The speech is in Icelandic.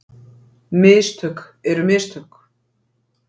Mistök eru mistök.